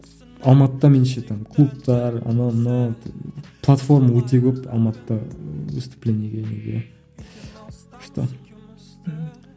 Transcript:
алматыда менше там клубтар анау мынау платформа өте көп алматыда выступлениеге неге күшті мхм